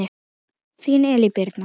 Þín Elín Birna.